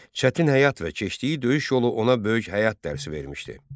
Çətin həyat və keçdiyi döyüş yolu ona böyük həyat dərsi vermişdi.